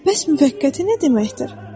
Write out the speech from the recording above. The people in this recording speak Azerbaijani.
Bəs müvəqqəti nə deməkdir?